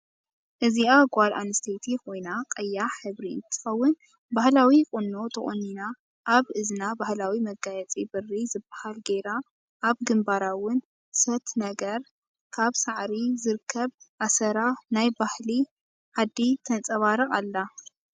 እዚ ጋል ኣንስተይቲ ኮይና ቀያሕ ሕብሪ እንትትከውን ባህላዊ ቁኖ ተቆኒና ኣብ እዚና ባህላዊ መጋያፂ ብሪ ዝ ባሃል ገይራ ኣብ ግንባራ እውን ሰት ነግር ካብ ሳዕሪ ዝርከብ ኣሰራ ናይ ባህሊ ዓደ ተፃባርቅ ኣላ።